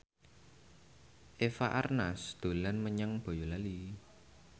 Eva Arnaz dolan menyang Boyolali